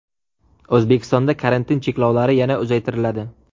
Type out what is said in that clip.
O‘zbekistonda karantin cheklovlari yana uzaytiriladi.